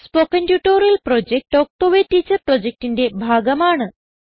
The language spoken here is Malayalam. spoken tutorial project talk to a teacher പ്രൊജക്റ്റിന്റെ ഭാഗമാണ്